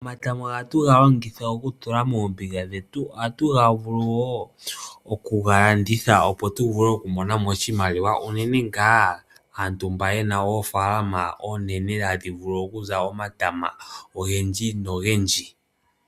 Omatama ohatu ga longitha oku tula moombiga dhetu, ohatu ga vulu woo okuga landitha opo tu vule oku monamo oshimaliwa unene ngaa aantu mba yena oofaalama oonene hadhi vulu okuza omatama ogendji nogendji.